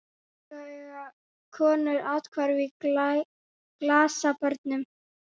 Svo eiga konur athvarf í glasabörnum.